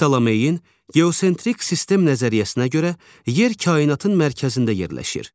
Ptomeyinin geosentrik sistem nəzəriyyəsinə görə yer kainatın mərkəzində yerləşir.